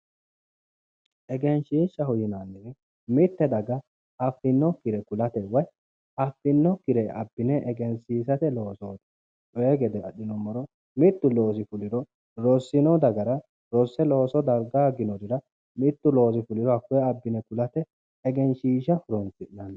egenshiishaho yinannihu mitte daga affinokkire kulate woy affinokkire abbine egensiisate loosooti, coyi gede adhinummoro mittu loosi fuliha ikkiro affinokki dagara rose darga hoogginorira mittu loosi fuliro hakkoye abbine kulate egenshiishsha horonsi'nanni